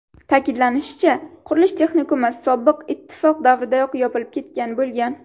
Ta’kidlanishicha, qurilish texnikumi sobiq Ittifoq davridayoq yopilib ketgan bo‘lgan.